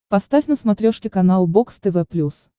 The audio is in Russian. поставь на смотрешке канал бокс тв плюс